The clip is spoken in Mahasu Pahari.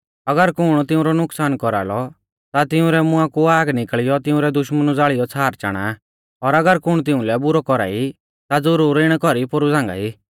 अगर कुण तिऊंरौ नुकसान कौरालौ ता तिंउरै मुंआ कु आग निकल़ियौ तिंउरै दुश्मनु ज़ालियौ छ़ार चाणा आ और अगर कुण तिउंलै बुरौ कौरा ई ता ज़ुरुर इणै कौरी पोरु झ़ांगाई